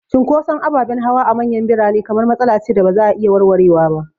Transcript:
Cunkoson ababen hawa a manyan birane kamar matsala ce da ba za a iya warwarewa ba.